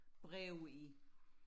breve i